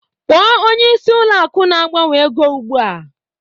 Kpọọ onyeisi ụlọ akụ na-agbanwe ego ugbua!